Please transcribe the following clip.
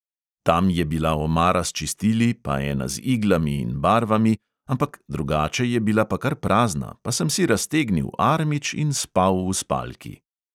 Tam je bila omara s čistili, pa ena z iglami in barvami, ampak drugače je bila pa kar prazna, pa sem si raztegnil armič in spal v spalki.